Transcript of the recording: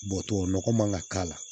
Bɔtɔ nɔgɔ man ka k'a la